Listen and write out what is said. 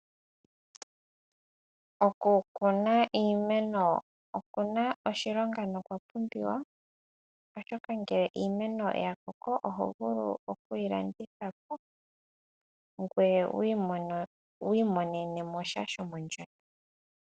Oku kuna iimeno okuna oshilonga na okwa pumbiwa. Ngele iimeno ya koko oho vulu oku yi landithapo ngoye wu imonene mosha shomondjato.